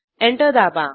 enter दाबा